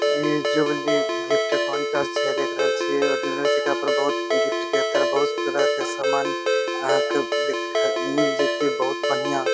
ये jubilee gift counter छै देख रहल छिये पर बहुत गिफ्ट के अंदर बहुत तरह के सामान आहाँ के दे मिल जयते बहुत बढ़िया।